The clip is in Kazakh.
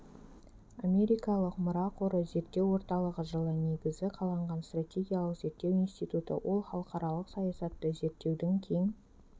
америкалық мұра қоры зерттеу орталығы жылы негізі қаланған стратегиялық зерттеу институты ол халықаралық саясатты зерттеудің кең